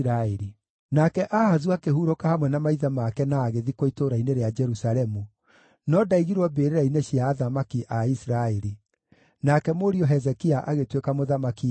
Nake Ahazu akĩhurũka hamwe na maithe make na agĩthikwo itũũra-inĩ rĩa Jerusalemu, no ndaigirwo mbĩrĩra-inĩ cia athamaki a Isiraeli. Nake mũriũ Hezekia agĩtuĩka mũthamaki ithenya rĩake.